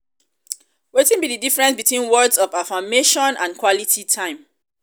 um wetin be di difference between words of affirmation and quality time?